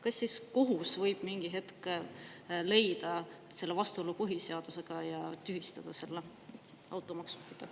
Kas siis kohus võib mingi hetk leida selle vastuolu põhiseadusega ja tühistada automaksu?